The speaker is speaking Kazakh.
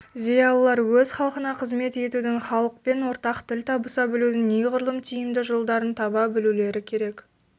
зиялылар өз халқына қызмет етудің халықпен ортақ тіл табыса білудің неғұрлым тиімді жолдарын таба білулері керек